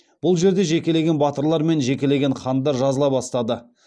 бұл жерде жекелеген батырлар мен жекелеген хандар жазыла бастады